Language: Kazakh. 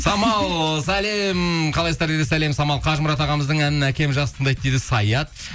самал сәлем қалайсыздар дейді сәлем самал қажымұрат ағамыздың әнін әкем жақсы тыңдайды дейді саят